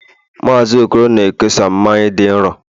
Mazị okoro na-ekesa mmanya dị nro